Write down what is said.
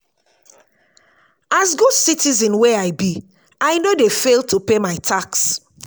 as good citizen wey i be i no dey fail to pay my tax.